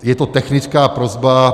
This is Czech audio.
Je to technická prosba.